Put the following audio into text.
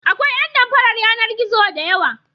Akwai ƴan damfarar yanar-gizo da yawa.